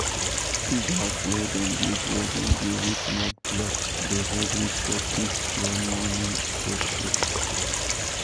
pig house wey dem build wey dem build with mud blocks dey hold heat for pigs when morning cold show